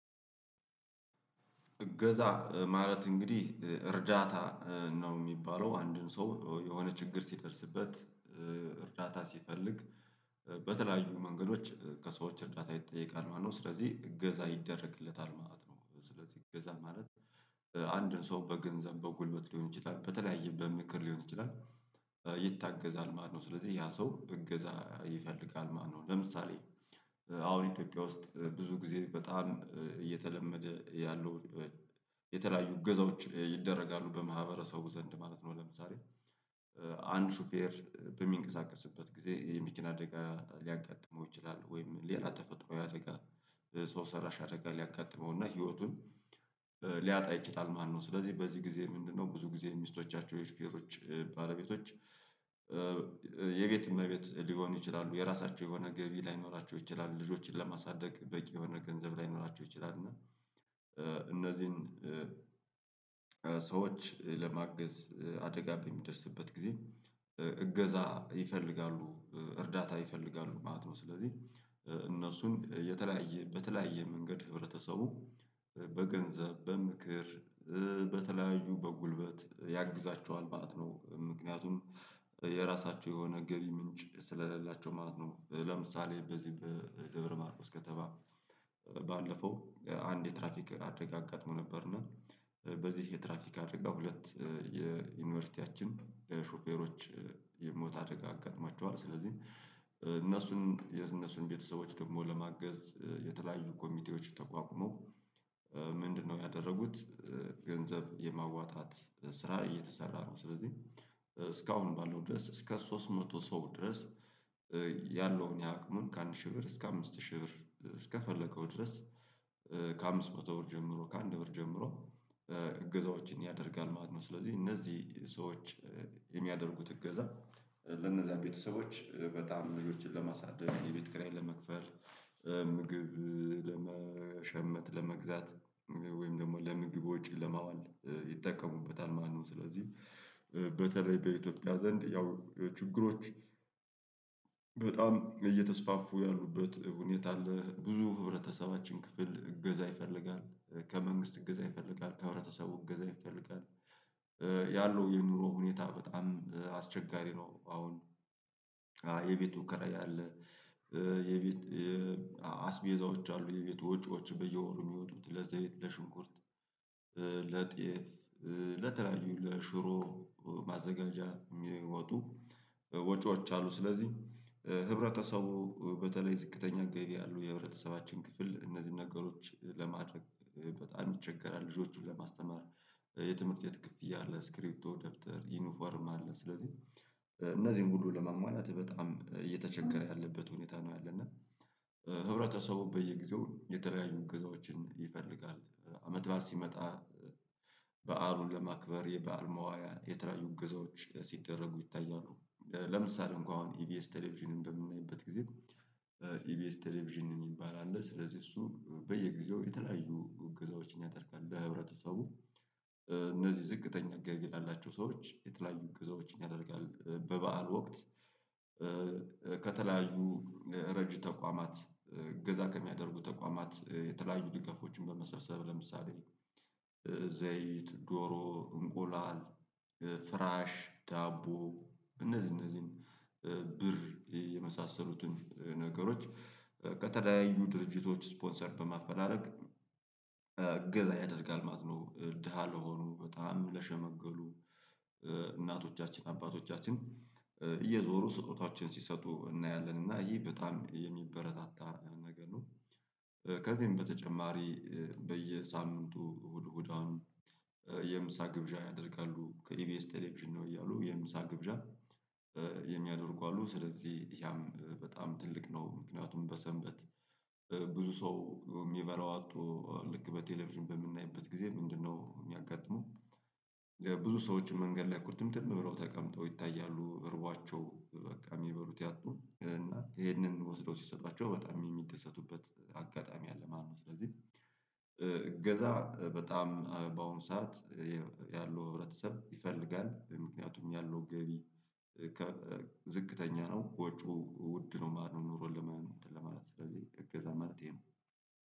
እገዛ ማለት እንግዲህ እርዳታ ነው የሚባለው አንድን ሰው የሆነ ችግር ሲደርስበት። እርዳታ ሲፈልግ በተለያዩ መንገዶች ከሰዎች እርዳታ ይጠየቃል ማለት ነው። ስለዚህ እገዛ ይደረግለታል ማለት ነው። ስለዚህ እገዛ ማለት። አንድን ሰው በገንዘብ በጉልበት ሊሆን ይችላል በተለያየ በምክር ሊሆን ይችላል። ይታገዛል ማነው ስለዚህ ያ ሰው እገዛ ይፈልጋል ማለት ነው። ለምሳሌ አሁን ኢትዮጵያ ውስጥ ብዙ ጊዜ በጣም እየተለመደ ያለው የተለያዩ እገዛዎች ይደረጋሉ በማህበረሰቡ ዘንድ ማለት ነው። ለምሳሌ አንድ ሹፌር በሚንቀሳቀስበት ጊዜ የመኪና አደጋ ሊያጋጥመው ይችላል ወይም ሌላ ተፈጥሮ የአደጋ ሰው ሰራሽ አደጋ ያጋጥመውና ህይወቱን ሊያጣ ይችላል ማለት ነው። ስለዚህ በዚህ ጊዜ ምንድነው? ብዙ ጊዜ ሚስቶቻቸው የሹፈሮች ባለቤቶች የቤት እመቤት ሊሆኑ ይችላሉ የራሳቸው የሆነ ገቢ ላይኖራቸው ይችላሉ ልጆችን ለማሳደግ በቂ የሆነ ገንዘብ ላይኖራቸው ይችላሉ። እና እነዚህን ሰዎች ለማገዝ አደጋ በሚደርስበት ጊዜ እገዛ ይፈልጋሉ እርዳታ ይፈልጋሉ ማለት ነው። ስለዚህ እነሱን የተለያየ በተለያየ መንገድ ህብረተሰቡ በገንዘብ በምክር በተለያዩ በጉልበት ያግዛቸዋል ማለት ነው። ምክንያቱም የራሳቸው የሆነ ገቢ ምንጭ ስለሌላቸው ማለት ነው። ለምሳሌ በዚህ በደብረ ማርቆስ ከተማ። ባለፈው አንድ የትራፊክ አጋጥሞ ነበርና በዚህ የትራፊክ አደጋ ሁለት የዩኒቨርሲቲያችን ሾፌሮች የሞት አደጋ አጋጥሟቸዋል። ስለዚህ እነሱን የነሱን ቤተሰቦች ደግሞ ለማገዝ የተለያዩ ኮሚቴዎች ተቋቁሞ ምንድነው ያደረጉት? ገንዘብ የማዋጣት ስራ እየተሰራ ነው። ስለዚህ እስካሁንም ባለው ድረስ እስከ ሶስት መቶ ሰው ድረስ። የአቅሙን ከአንድ ሺህ ብር እስከ አምስት ሺህ ብር እስከፈለገው ድረስ። ከአምስት መቶ ብር ጀምሮ ከአንድ ብር ጀምሮ እገዛዎችን ያደርጋል ማለት ነው። ስለዚህ እነዚህ ሰዎች የሚያደርጉት እገዛ ለነዛ ቤተሰቦች በጣም ልጆችን ለማሳደግ የቤት ክራይ ለመክፈል ምግብ ለመሸመት ለመግዛት ወይም ደግሞ ለምግብ ወጪ ለማዋል ይጠቀሙበታል ማለት ነው። ስለዚህ በተለይ በኢትዮጵያ ዘንድ ያው ችግሮች በጣም እየተስፋፉ ያሉበት ሁኔታ አለ። ብዙ ህብረተሰባችን ክፍል እገዛ ይፈልጋል ከመንግስት እገዛ ይፈልጋል ከህብረተሰቡ እገዛ ይፈልጋል ያለው የኑሮ ሁኔታ በጣም አስቸጋሪ ነው። አሁን የቤቱ ክራያ አለ። የቤት አስቤዛዎች አሉ የቤቱ ወጪዎች በየወሩ የሚወጡት ለዘይት ለሽንኩርት ለጤፍ ለተለ ለሽሮ ማዘጋጃ የሚወጡ ወጪዎች አሉ። ስለዚህ ህብረተሰቡ በተለይ ዝቅተኛ ገቢ ያለው የህብረተሰባችን ክፍል እነዚህን ነገሮች ለማድረግ በጣም ይቸገራል። ልጆቹን ለማስተማር የትምህርት የት ክፍያ አለ ስክሪፖቶ ደብተር ዩኒፎርም አለ። ስለዚህ እነዚህን ሁሉ ለማሟላት በጣም እየተቸገረ ያለበት ሁኔታ ነው። ያለና ህብረተሰቡ በየጊዜው የተለያዩ እግዛዎችን ይፈልጋል። አመት በዓል ሲመጣ በዓሉን ለማክበር የበአል መዋያ የተለያዩ እገዛዎች ሲደረጉ ይታያሉ። ለምሳሌ እንኳን አሁን ኢቢኤስ ቴሌቪዥንን በምናይበት ጊዜ ኢቢኤስ ቴሌቪዥን የሚባል አለ። ስለዚህ እሱ በየጊዜው የተለያዩ እገዛዎችን ያደርጋል ለህብረተሰቡ። እነዚህ ዝቅተኛ ገቢ ላላቸው ሰዎች የተለያዩ እግዛዎችን ያደርጋል በበዓል ወቅት። ከተለያዩ ረጅ ተቋማት እገዛ ከሚያደርጉ ተቋማት የተለያዩ ድጋፎችን በመሰብሰብ ለምሳሌ ዘይት ዶሮ እንቆላል ፍራሽ ዳቦ እነዚህ እነዚህን ብር የመሳሰሉትን ነገሮች ከተለያዩ ድርጅቶች ስፖንሰር በማፈላለግ እገዛ ያደርጋል ማለት ነው። ደሃ ለሆኑ በጣም ለሸመገሉ እናቶቻችን አባቶቻችን እየዞሩ ስጦታዎችን ሲሰጡ እናያለን እና ይህ በጣም የሚበረታታ ነገር ነው። ከዚህም በተጨማሪ በየሳምንቱ እሁድ እሁድ አሁን የምሳ ግብዣ ያደርጋሉ ከኢቢኤስ ቴሌቪዥን ነው እያሉ የምሳ ግብዣ የሚያደርጉ አሉ። ስለዚህ ያም በጣም ትልቅ ነው። ምክንያቱም በሰንበት ብዙ ሰው የሚበላው አቶ ልክ በቴሌቪዥን በምናይበት ጊዜ ምንድነው የሚያጋጥሙህ? ለብዙ ሰዎች መንገድ ላይ ቁርትምትም ብለው ተቀምጠው ይታያሉ እርቧቸው በቃ የሚበሉት ያጡ እና ይሄንን ወስደው ሲሰጧቸው በጣም የሚደሰቱበት አጋጣሚ አለ ማለት ነው። ስለዚህ እገዛ በጣም በአሁኑ ሰዓት ያለው ህብረተሰብ ይፈልጋል ምክንያቱም ያለው ገቢ ዝቅተኛ ነው ወጪው ውድ ነው ማለት ነው። ኑሮ ለማለት ስለዚህ እገዛ መፍትሀ ነው።